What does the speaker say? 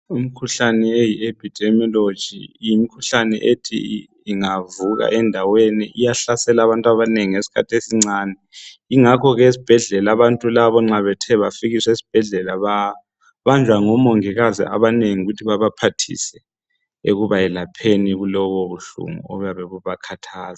Imkhuhlane eye epidemiology, yimkhuhlane ethi ingavuka endaweni iyahlasela abantu abanengi ngesikhathi esincane. Yingakho ke esibhedlela, abantu laba nxa bethe bafikiswa esibhedlela babanjwa ngomongikazi abanengi ukuthi babaphathise, ekubayelapheni kulobubuhlungu obuyabe bubakhathaza.